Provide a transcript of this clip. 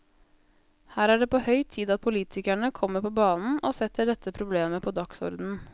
Her er det på høy tid at politikerne kommer på banen og setter dette problemet på dagsordenen.